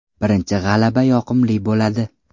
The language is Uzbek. Birinchi g‘alaba yoqimli bo‘ladi.